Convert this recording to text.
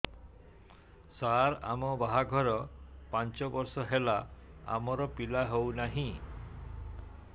ସାର ଆମ ବାହା ଘର ପାଞ୍ଚ ବର୍ଷ ହେଲା ଆମର ପିଲା ହେଉନାହିଁ